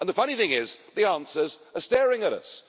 The funny thing is the answers are staring at us.